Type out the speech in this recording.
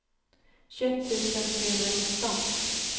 tjugoett tusen trehundranitton